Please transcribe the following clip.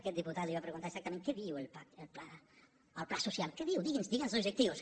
aquest diputat li va preguntar exactament què diu el pla social què diu digui’n els objectius